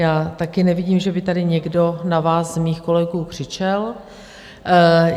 Já taky nevidím, že by tady někdo na vás z mých kolegů křičel.